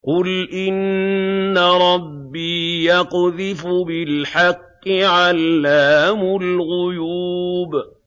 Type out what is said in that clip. قُلْ إِنَّ رَبِّي يَقْذِفُ بِالْحَقِّ عَلَّامُ الْغُيُوبِ